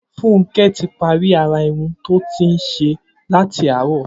Funke ti pàrí árá irùn tó ti n ṣé làtí àárọ̀